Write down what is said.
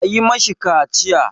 A yi ma shi kaciya!